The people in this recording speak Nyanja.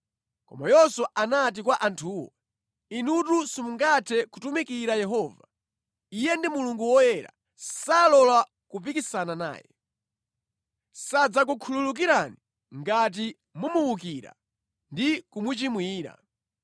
Koma Yoswa anati kwa anthuwo, “Inutu simungathe kutumikira Yehova. Iye ndi Mulungu woyera, salola kupikisana naye. Sadzakukhululukirani ngati mumuwukira ndi kumuchimwira.